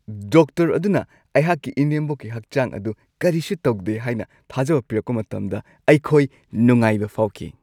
Doctor ꯑꯗꯨꯅ ꯑꯩꯍꯥꯛꯀꯤ ꯏꯅꯦꯝꯕꯣꯛꯀꯤ ꯍꯛꯆꯥꯡ ꯑꯗꯨ ꯀꯔꯤꯁꯨ ꯇꯧꯗꯦ ꯍꯥꯏꯅ ꯊꯥꯖꯕ ꯄꯤꯔꯛꯄ ꯃꯇꯝꯗ ꯑꯩꯈꯣꯏ ꯅꯨꯡꯉꯥꯏꯕ ꯐꯥꯎꯈꯤ ꯫